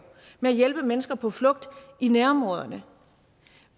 at hjælpe mennesker på flugt i nærområderne